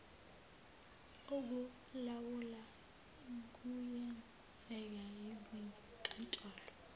okulawula kuyenzeka izinkantolo